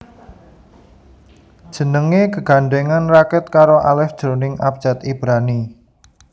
Jenengé gegandhèngan raket karo alef jroning abjad Ibrani